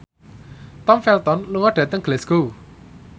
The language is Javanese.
Tom Felton lunga dhateng Glasgow